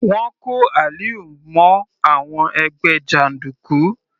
Wọ́n kó Aliu mọ́ àwọn ẹgbẹ́ jàndùkú.